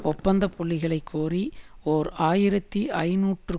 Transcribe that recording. ஒப்பந்த புள்ளிகளை கோரி ஓர் ஆயிரத்தி ஐநூறுக்கு